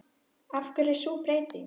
Af hverju er sú breyting?